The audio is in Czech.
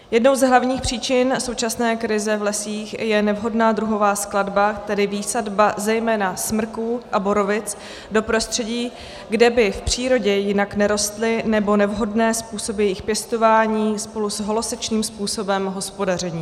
Jednou z hlavních příčin současné krize v lesích je nevhodná druhová skladba, tedy výsadba zejména smrků a borovic, do prostředí, kde by v přírodě jinak nerostly, nebo nevhodné způsoby jejich pěstování spolu s holosečným způsobem hospodaření.